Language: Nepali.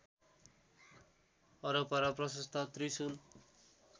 वरपर प्रशस्त त्रिशुल